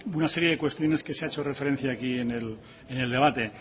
una serie de cuestiones que se ha hecho referencia aquí en el debate